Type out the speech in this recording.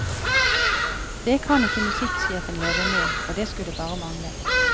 Det kan ikke musikksjefen leve med, og det skulle bare mangle.